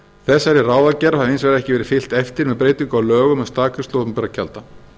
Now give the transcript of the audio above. þessari ráðagerð hafi hins vegar ekki verið fylgt eftir með breytingu á lögum um staðgreiðslu opinberra gjalda